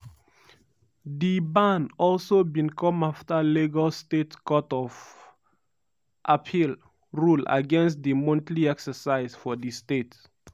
di ban also bin come afta lagos state court of appeal rule against di monthly exercise for di state.